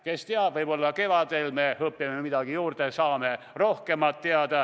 Kes teab, võib-olla kevadel õpime midagi juurde, saame rohkem teada.